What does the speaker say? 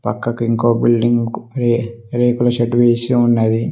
పక్కకి ఇంకో బిల్డింగు కు రే రేకుల షెడ్డు వేసి ఉన్నది.